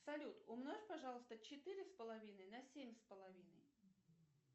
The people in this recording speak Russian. салют умножь пожалуйста четыре с половиной на семь с половиной